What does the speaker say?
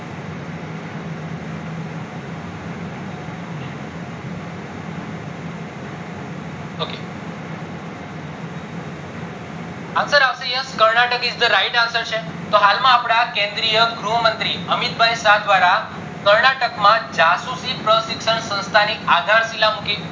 answer આવશે Karnataka yes Karnataka is the right answer છે તો હાલ માં કેન્દ્રિય ગૃહ મંત્રી અમિત ભાઈ શાહ દ્વારા કર્નાટક માં જાસુસી પ્રશિક્ષણ સંસ્થા ની મૂકી